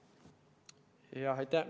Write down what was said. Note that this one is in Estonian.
Aitäh!